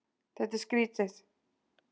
Þetta er skrýtið.